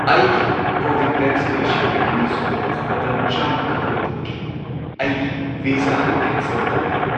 ꯑꯩꯒꯤ ꯀꯣꯚꯤꯗ ꯚꯦꯛꯁꯤꯅꯦꯁꯟꯒꯤ ꯑꯅꯤꯁꯨꯕ ꯗꯣꯁ ꯃꯇꯝꯆꯥꯅ ꯀꯥꯞꯍꯧꯗꯕꯒꯤ ꯑꯩꯒꯤ ꯚꯤꯖꯥ ꯑꯗꯨ ꯀꯦꯟꯁꯦꯜ ꯇꯧꯔꯦ꯫